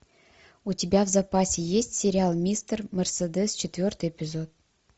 у тебя в запасе есть сериал мистер мерседес четвертый эпизод